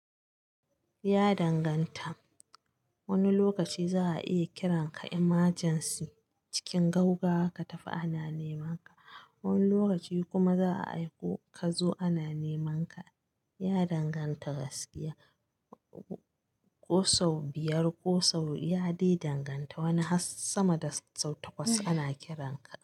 Ya danganta. Wani lokaci za'a iya kiranka emergency cikin gaugawa katafi ana neman ka. Wani lokaci kuma za a aiko ka zo ana nemanka. Ya danganta gaskiya. Kosau biyar kosau, ya dai danganta. Wani har sama da sau takwas ana kiranka.